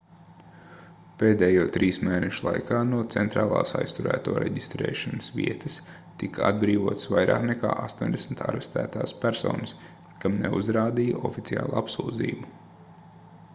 pēdējo 3 mēnešu laikā no centrālās aizturēto reģistrēšanas vietas tika atbrīvotas vairāk nekā 80 arestētās personas kam neuzrādīja oficiālu apsūdzību